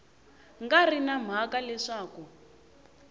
nga ri na mhaka leswaku